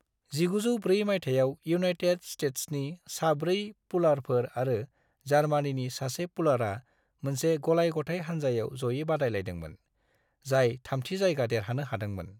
1904 मायथाइयाव इउनायटेड स्तेत्सनि सा-4 पुलारफोर आरो जार्मानीनि सा-1 पुलारा मोनसे गलाय-गथाय हानजायाव जयै बादायलायदोंमोन, जाय थामथि जायगा देरहानो हादोंमोन।